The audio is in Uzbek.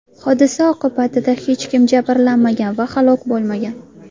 Hodisa oqibatida hech kim jabrlanmagan va halok bo‘lmagan.